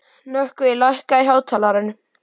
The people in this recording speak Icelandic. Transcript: Nökkvi, lækkaðu í hátalaranum.